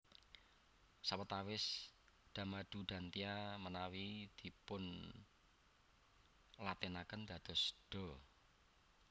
Sawatawis Da madu Dantya manawi dipunlatinaken dados dha